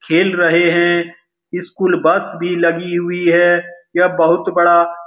खेल रहे है स्कूल बस भी लगी हुई है यह बहुत बडा --